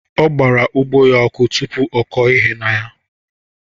Ọgbara ugbo ya ọkụ tụpụ ọkọ ihe na ya.